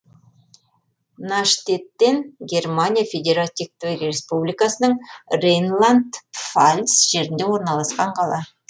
наштеттен германия федеративтік республикасының рейнланд пфальц жерінде орналасқан қала